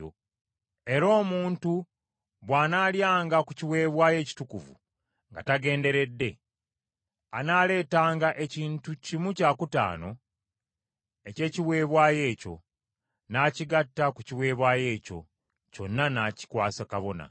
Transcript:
Era omuntu bw’anaalyanga ku kiweebwayo ekitukuvu nga tagenderedde, anaaleetanga ekitundu kimu kyakutaano eky’ekiweebwayo ekyo, n’akigatta ku kiweebwayo ekyo, kyonna n’akikwasa kabona.